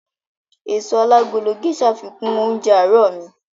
Èso alágolo Gésà fikún oúnjẹ àárọ̀ mi